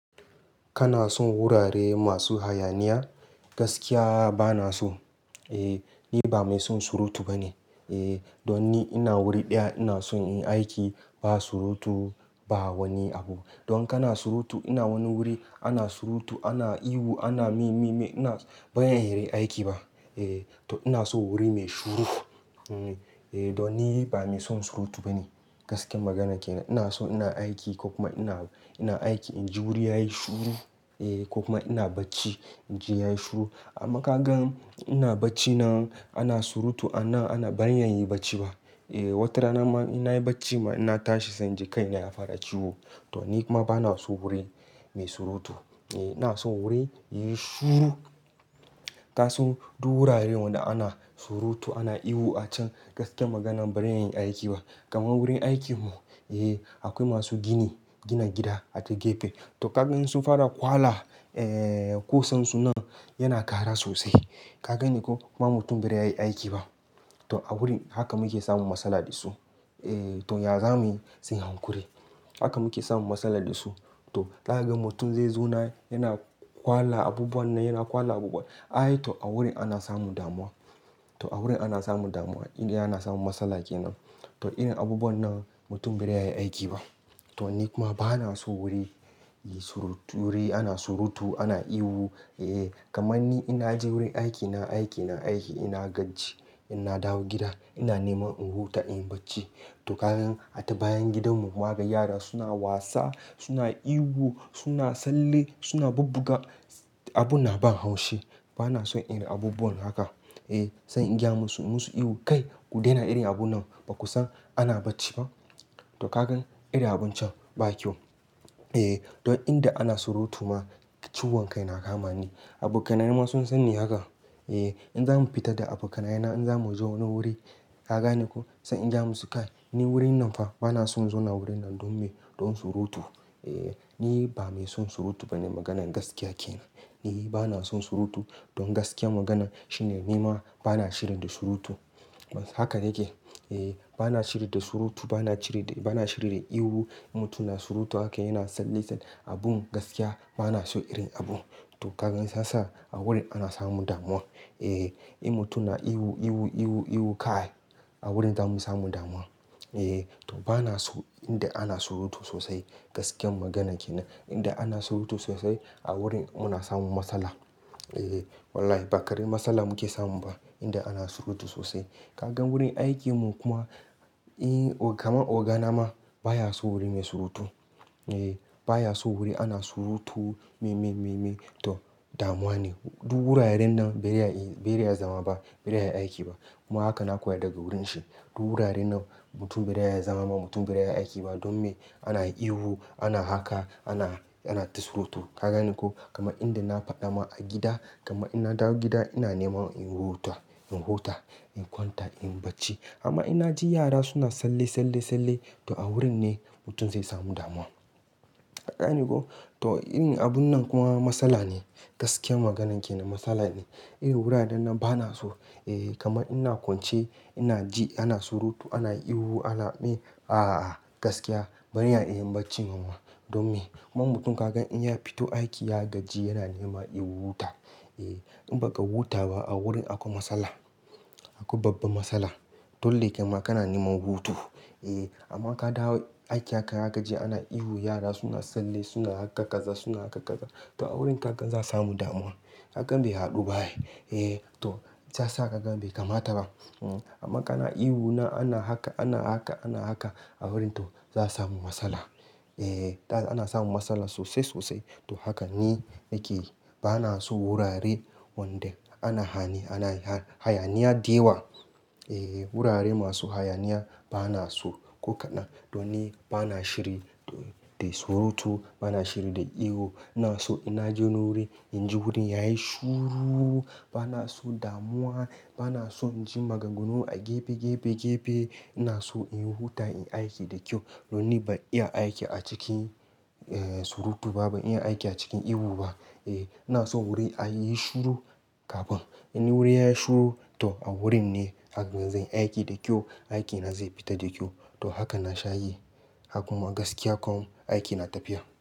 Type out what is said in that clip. Kana son wurare masu hayaniya? Gaskiya ba na so Ni ba mai son surutu ba ne don ni ina wuri ɗaya ina son in yi aiki ba surutu ba wani abu. Dan kana surutu, ina wani wuri, ana surutu ana ihu ana mememe. Bazan iya nayi aiki bah. To inason wuri mai shuru don ni ba mai son surutu ba ne. Gaskiyar magana kenan, inaso ina aiki, kokuma idan ina aiki inji wuri yayi shuru, kokuma idan ina bacci inji yayi shuru. Amma kagan idan ina baccin nan ana surutu anan bazan iya inyi bacci ba. Wata ranama innayi baccin ma natashi, sai inji kaina yanamun ciwo. Toh nikuma banason wuri mai surutu. Inason wuri yayi shuru kasan duk wurare wanda ana surutu, ana ihu acan gaskiyar magana bazan iya yin aiki ba. Kamar wurin aikinmu, Eh akwai masu aikin gini, gina gida a gefe Toh kaga idan sunfara kwala kusansun nan yana kara sosai. Ka gane koh, kuma mutum bazai iya yayi aiki ba. To awurin haka muke samun matsala dasu. To! Yazamuyi, sai hakuri. Haka muke samun matsala da su. To zakaga mutum zai zauna yana kwala abubuwan nan yana kwala abubuwan, ai to awurin ake samun damuwa. To a wurin ake samun damuwa. Inda ake samun matsala kenan. To irin abubuwan nan mutum bazai iya yayi aikiba to ni kuma ba na so wuri ana surutu ana ihu Kamanni idan naje wurin aikina, nayi aiki kuma nagaji inna dawo gida ina neman in huta inyi bacci. To ni kuma ba na so wuri ana surutu ana ihu to ni kuma ba na so wuri ana surutu ana ihu Banason abubuwa irin haka, sai ingaya musu inyi musu ihu ince kai kudai irin abunnan kudaina ihu bakusan ana bacci ba to kagan irin abuncan babu kyau. Don inda ana surutu ma ciwon kai na kama ni. Abokanaina ma sunsanni haka ehhh Inzamu fita da abokanaina, inzamuje wani wuri kagane koh, sai incemusu kai Mubar wurinnan fa banaso muzauna anan. Donme? Dan surutu. Niba mai son surutu bane maganar gaskiya kenan. Ni banason suruti. Dan gaskiyar magana shine nima bana shiri da surutu. Haka nake. Bana shiri da surutu, bana shiri da ihu In mutum yana surutu haka yana tsalle–tsalle abun gaskiya banason irin abun. To ka gan sasa a wurin ana samun damuwa. In mutum yana ihu, ihu, ihu kai, Awurin zamu samu damuwa. To banaso inda ana surutu sosai. Gaskiyar magana kenan Inda ana surutu sosai a wurin muna samun matsala. Wannan ba karamin matsala muke samu ba, inda ana surutu sosai. Kaga wurin aikinmu kuma, Kamar oga nama bayason wuri mai surutu sosai. Bayason wuri ana surutu, memememe to damuwane. Duk wuraren nan bazai iya zama ba bazai iya yayi aiki bah. Kuma haka na koya daga wurinshi. Duk wuraren nan mutum bazai iya zama ba bazai iya yayi aiki ba. Don me? Ana ihu, ana haka, anata surutu. Kagane ko? Kamar inda nafadama, a gida kamar inna dawo gida ina neman in huta. In kwanta inyi bacci amma innaji yara suna Tsalle-tsalle, toh awurinne mutum zai samu damuwa. Ka gane koh, to irin abunnan kuma matsala ne. Gaskiyan maganan kenan matsala ne Wurarennan banaso ehh Kamar ina kwance inaji ana surutu, anayin ihu, ana mee, a a gaskiya bazan iya inyi baccin bama. Dan me? Kuma kaga mutum inya fito aiki ya gaji yanaso ya huta. Inbaka huta ba, a wurin akwai matsala. Akwai babba matsala. Dole kaima kana neman hutu. Kamar kadawo aiki haka, zakaji ana ihu, yara suna Tsalle suna haka kaza suna haka kaza, to awurin kaga za a samu damuwa. Kagan bai haduba ai. Shiyasaa kagan bai kamata ba Ama kana ihun nan ana haka, kana haka to awurinto za a iya samun matsala. Ana samun matsala sosai sosai. To haka ninake banason wurare wanda ana hayaniya dayawa. Wurare masu hayaniya ba na so. Ko kadan danni bana shiri da surutu, bana shiri da ihu, inason idannaje wani wuri inji wurin yayi shuru. Ba na so damuwa. Banason inji maganganu a gefe, gefe Inason inhuta inyi aiki da kyau. Danni ban iya aiki acikin surutu ba, ban iya aiki acikin ihu ba ina so wuri a yayi shiru kafin. In wuri yayi shiru toh awurinne zakaga nayi aiki da kyau. Aikina zai fita da kyau don haka nasha yi. Gakuma gaskiya kam aiki na tafiya.